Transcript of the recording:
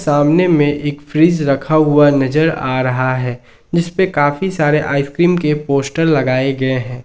सामने में एक फ्रिज रखा हुआ नजर आ रहा है जिसपे काफी सारे आइसक्रीम के पोस्टर लगाए गए हैं।